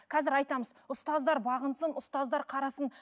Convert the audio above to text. қазір айтамыз ұстаздар бағынсын ұстаздар қарасын